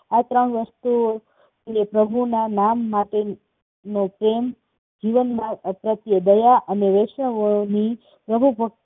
આ ત્રણ વસ્તુઓ પ્રભુના નામ માટેનો પ્રેમ, જીવનમાં પ્રત્યે દયા અને